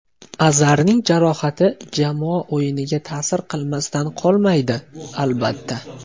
Azarning jarohati jamoa o‘yiniga ta’sir qilmasdan qolmaydi, albatta.